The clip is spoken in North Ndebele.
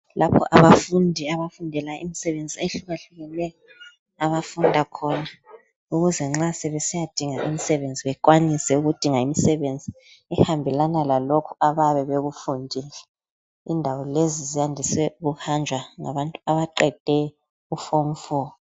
Lapho abafundi abafundela imisebenzi ehlukahlukeneyo abafunda khona ukuze nxa sebesiya dinga imisebenzi bekwanise ukudinga imisebenzi ehambelana lalokho abayabe bekufundele. Indawo lezi ziyandise ukuhanjwa ngabantu abaqede u form 4.